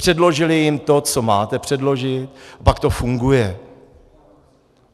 Předložili jim to, co máte předložit, pak to funguje.